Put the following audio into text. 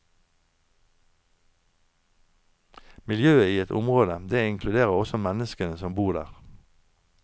Miljøet i et område, det inkluderer også menneskene som bor der.